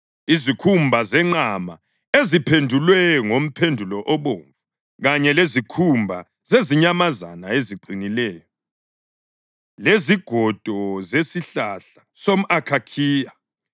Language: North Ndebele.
izikhumba zenqama eziphendulwe ngomphendulo obomvu, kanye lezikhumba zezinyamazana eziqinileyo, lezigodo zesihlahla somʼakhakhiya,